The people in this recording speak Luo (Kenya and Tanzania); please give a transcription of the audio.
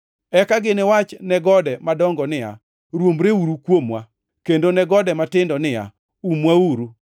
“ ‘Eka giniwach ne gode madongo niya, “Rwombreuru kuomwa!” Kendo ne gode matindo niya, “Umwauru!” ’+ 23:30 \+xt Hos 10:8\+xt*